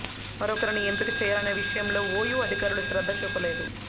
మరొకరిని ఎంపిక చేయాలనే విషయంలో ఓయూ అధికారులు శ్రద్ధ చూపలేదు